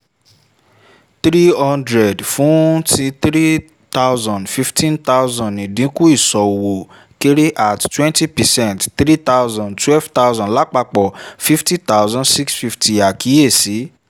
three hundred fún tin three thousand fifteen thousand ìdínkù ìṣòwò kéré at twenty percent three thousand twelve thousand lapapọ fifty thousand six fifty àkíyèsí: